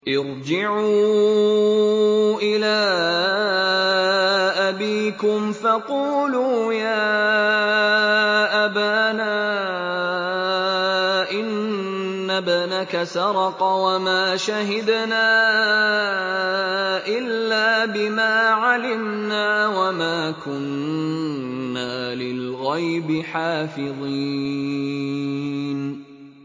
ارْجِعُوا إِلَىٰ أَبِيكُمْ فَقُولُوا يَا أَبَانَا إِنَّ ابْنَكَ سَرَقَ وَمَا شَهِدْنَا إِلَّا بِمَا عَلِمْنَا وَمَا كُنَّا لِلْغَيْبِ حَافِظِينَ